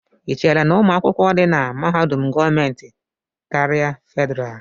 Ị chere na ụmụ akwụkwọ di na mahadum gọọmentị karịa Fedrá?